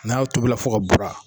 N'a tobila fo ka bura.